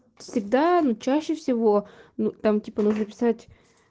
всегда но чаще всего ну там типа нужно писать